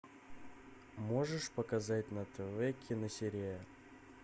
можешь показать на тв киносерия